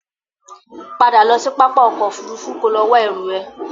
Padà lọ sí pápá ọkọ̀ Òfurufú kò lọ wá ẹrú ẹ!